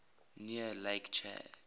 near lake chad